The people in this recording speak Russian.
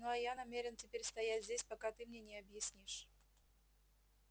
ну а я намерен теперь стоять здесь пока ты мне не объяснишь